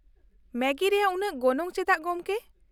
ᱢᱮᱜᱤ ᱨᱮᱭᱟᱜ ᱩᱱᱟᱹᱜ ᱜᱚᱱᱚᱝ ᱪᱮᱫᱟᱜ, ᱜᱚᱝᱠᱮ ?